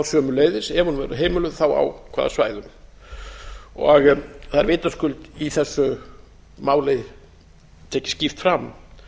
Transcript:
sömuleiðis ef hún verður heimiluð þá á hvaða svæðum það er vitaskuld í þessu máli tekið skýrt fram